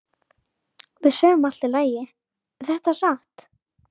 Við sögðum Allt í lagi, er þetta satt?